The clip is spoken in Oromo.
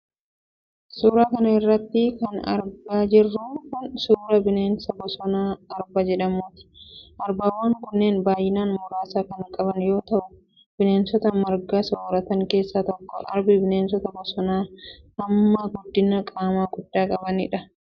Suura kana irratti kan argaa jirru kun ,suura bineensa bosonaa arba jedhamuuti. Arbawwan kunneen baay'ina muraasa kan qaban yoo ta'u, bineensota marga sooratan keessaa tokko. Arbi bineensota bosonaa hamma guddina qaamaa guddaa qabaniidha.